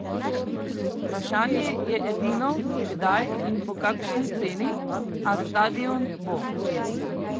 Vprašanje je edino, kdaj in po kakšni ceni, a stadion bo!